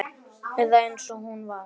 Eða eins og hún var.